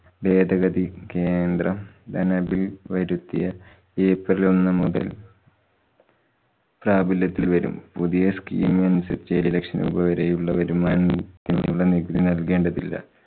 ഭേദഗതി കേന്ദ്രം ധന bill വരുത്തിയ april ഒന്നു മുതല്‍ പ്രാപല്യത്തില്‍ വരും. പുതിയ scheam അനുസരിച്ച് ഏഴുലക്ഷം രൂപവരെ ഉള്ളവരും ആനുകൂല്യത്തിനുള്ള നികുതി നല്‍കേണ്ടതില്ല.